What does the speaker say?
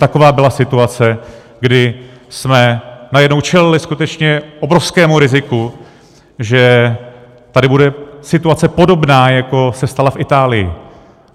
Taková byla situace, kdy jsme najednou čelili skutečně obrovskému riziku, že tady bude situace podobná, jako se stala v Itálii.